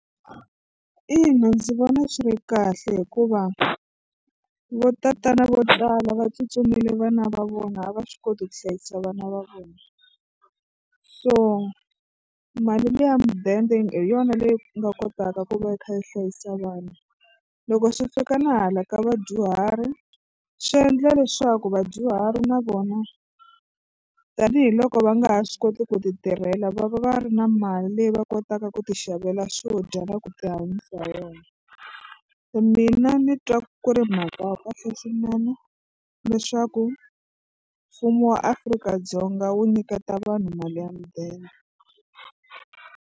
Ina ndzi vona swi ri kahle hikuva vo tatana vo tala va tsutsumile vana va vona a va swi koti ku hlayisa vana va vona so mali liya mudende hi yona leyi nga kotaka ku va yi kha yi hlayisa vanhu. Loko swi fika na hala ka vadyuhari swi endla leswaku vadyuhari na vona tanihiloko va nga ha swi koti ku titirhela va va ri na mali leyi va kotaka ku tixavela swo dya na ku tihanyisa hi yona se mina ni twa ku ri mhaka ya kahle swinene leswaku mfumo wa Afrika-Dzonga wu nyiketa vanhu mali ya mudende.